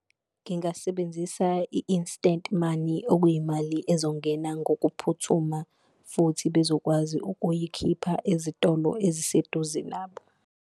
Ngingasebenzisa i-instant money okuyimali ezongena ngokuphuthuma futhi bezokwazi ukuyikhipha ezitolo eziseduze nabo.